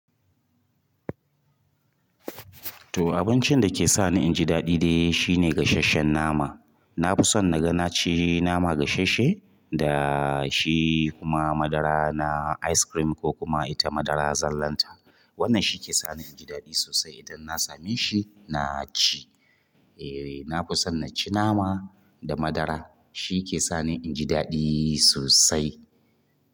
To abincin da ke sani inji daɗi dai shine gasheshen nama. Nafi son naga naci nama gasheshe da shi kuma madara na ice-cream ko kuma ita madaran zallan ta wannan shi ke sani inji daɗi sosai idan na same shi na ci. Eee! Na fi son na ci nama da madara shi ke sani inji daɗi sosai.